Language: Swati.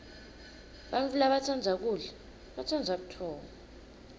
bantfu labatsandza kudla batsandza butfongo